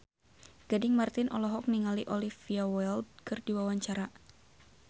Gading Marten olohok ningali Olivia Wilde keur diwawancara